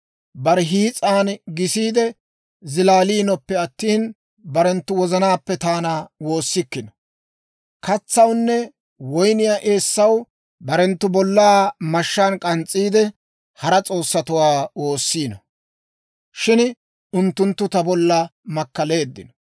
Bare hiis'an gisiide zilaaliinoppe attina, barenttu wozanaappe taana woossikkino. Katsawunne woyniyaa eessaw barenttu bollaa mashshaan k'ans's'iide, hara s'oossatuwaa woossiino; shin unttunttu ta bolla makkaleeddino.